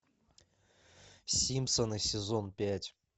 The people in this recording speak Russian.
симпсоны сезон пять